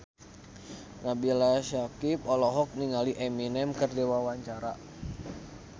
Nabila Syakieb olohok ningali Eminem keur diwawancara